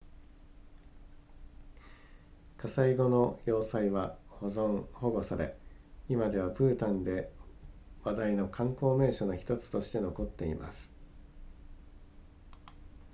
火災後の要塞は保存保護され今ではブータンで話題の観光名所の1つとして残っています